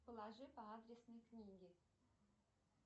положи по адресной книге